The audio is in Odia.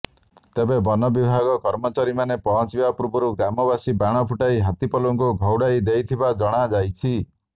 ତେବେ ବନ ବିଭାଗ କର୍ମଚାରୀମାନେ ପହଞ୍ଚିବା ପୂର୍ବରୁ ଗ୍ରାମବାସୀ ବାଣ ଫୁଟାଇ ହାତୀପଲକୁ ଘଉଡ଼ାଇ ଦେଇଥିବା ଜଣାଯାଇଛି